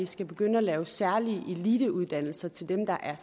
skal begynde at lave særlige eliteuddannelser til dem der er